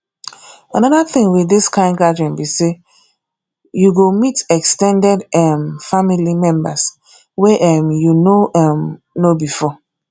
another thing with this kind gathering be say you go meet ex ten ded um family members wey um you no um know before